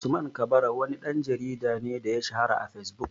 Usman kabara wani ɗan jarida ne da ya shahara a fesbuk